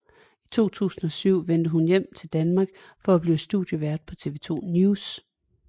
I 2007 vendte hun hjem til Danmark for at blive studievært på TV 2 NEWS